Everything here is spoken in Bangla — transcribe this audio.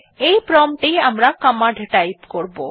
এই প্রম্পট এই আমরা কমান্ড টাইপ করবো